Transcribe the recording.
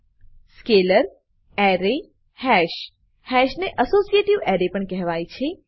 scalar scalar array array hash hash ને associative array associative array પણ કહેવાય છે